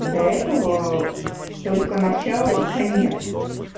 до этого только начало и конец